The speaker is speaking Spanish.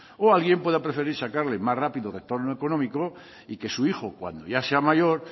o alguien pueda preferir sacarle más rápido retorno económico y que su hijo cuando ya sea mayor